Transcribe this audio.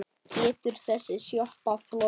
Getur þessi sjoppa flogið?